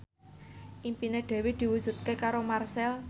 impine Dewi diwujudke karo Marchell